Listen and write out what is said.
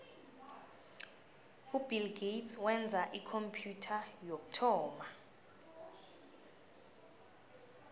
ubill gates wenza ikhompyutha yokuthoma